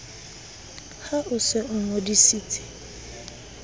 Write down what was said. ha o se o ngodisitse